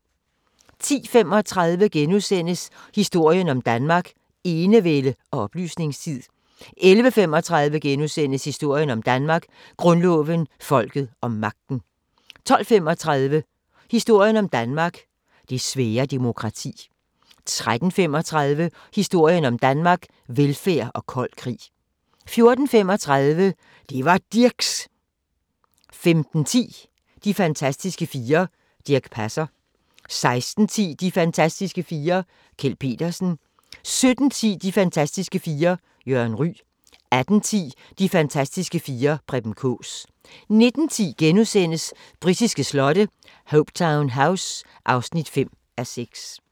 10:35: Historien om Danmark: Enevælde og oplysningstid * 11:35: Historien om Danmark: Grundloven, folket og magten * 12:35: Historien om Danmark: Det svære demokrati 13:35: Historien om Danmark: Velfærd og kold krig 14:35: Det var Dirchs! 15:10: De fantastiske fire: Dirch Passer 16:10: De fantastiske fire: Kjeld Petersen 17:10: De fantastiske fire: Jørgen Ryg 18:10: De fantastiske fire: Preben Kaas 19:10: Britiske slotte: Hopetoun House (5:6)*